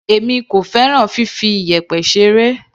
Èmi kò fẹ́ràn fifi iyẹ̀pẹ̀ ṣeré.